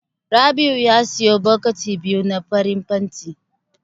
Rabi'u ya siyo bokiti biyu na farin fenti.